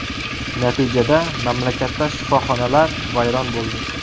Natijada mamlakatda shifoxonalar vayron bo‘ldi.